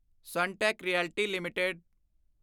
Sunteck realty LTD